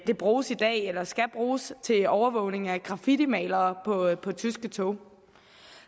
det bruges i dag eller skal bruges til overvågning af grafittimaleri på tyske tog